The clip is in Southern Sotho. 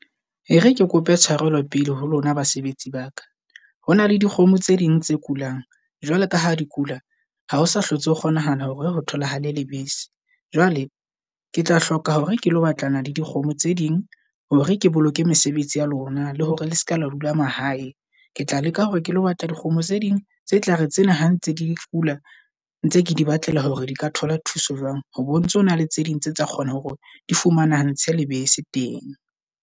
E re ke kope tshwarelo pele ho lona basebetsi baka ho na le dikgomo tse ding tse kulang jwalo ka ha di kula. Ha o sa hlotse ho kgonahala hore ho tholahale lebese. Jwale ketla hloka hore ke lo batlana le dikgomo tse ding hore ke boloke mesebetsi ya lona, le hore le seka lo dula mahae. Ketla leka hore ke lo batla dikgomo tse ding tse tlare tsena ha ntse di kula ntse ke di batlela hore di ka thola thuso jwang. Ho bontse hona le tse ding tse tla kgona hore di fumanahantshwe lebese teng.